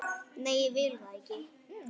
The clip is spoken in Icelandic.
Nei, ég vil það ekki.